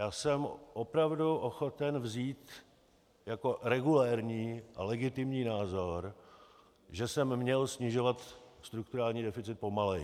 Já jsem opravdu ochoten vzít jako regulérní a legitimní názor, že jsem měl snižovat strukturální deficit pomaleji.